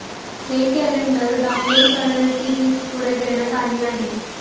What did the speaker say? हे calendar download करण्याची link पुढे देण्यात आली आहे